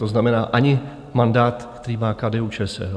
To znamená ani mandát, který má KDU-ČSL.